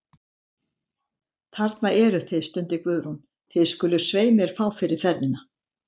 Þarna eruð þið, stundi Guðrún, þið skuluð svei mér fá fyrir ferðina.